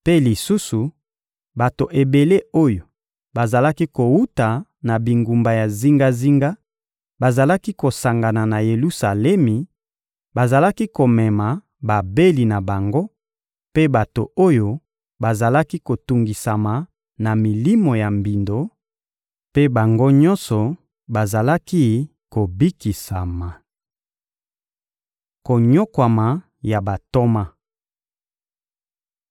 Mpe lisusu, bato ebele oyo bazalaki kowuta na bingumba ya zingazinga bazalaki kosangana na Yelusalemi; bazalaki komema babeli na bango mpe bato oyo bazalaki kotungisama na milimo ya mbindo; mpe bango nyonso bazalaki kobikisama. Konyokwama ya bantoma